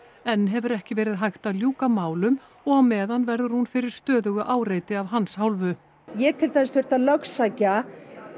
enn hefur ekki verið hægt að ljúka málum og á meðan verður hún fyrir stöðugu áreiti af hans hálfu ég til dæmis þurfti að lögsækja